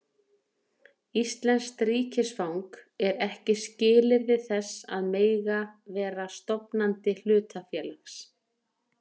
Íslenskt ríkisfang er ekki skilyrði þess að mega vera stofnandi hlutafélags.